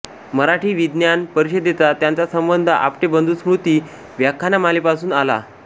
मराठी विज्ञान परिषदेचा त्यांचा संबंध आपटे बंधू स्मृती व्याख्यानमालेपासून आला